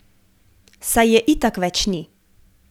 Saj je itak več ni.